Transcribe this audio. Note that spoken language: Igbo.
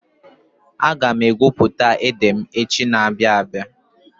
Aga m egwu ede m echi na-abịa abịa.